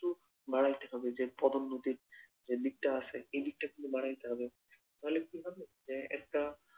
বাড়াইতে হবে যে পদোন্নতির যে দিকটা আছে এই দিকটা কিন্তু বাড়াইতে হবে তাহলে কি হবে যে একটা